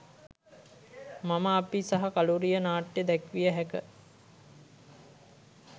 මම අපි සහ කළුරිය නාට්‍ය දැක්විය හැක